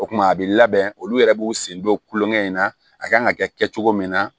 O kumana a bɛ labɛn olu yɛrɛ b'u sen don kulonkɛ in na a kan ka kɛ kɛ cogo min na